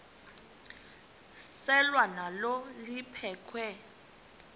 selwa nalo liphekhwe